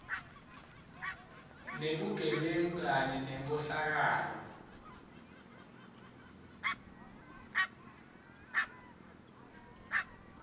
nebugebengu kanye nenkhohlakalo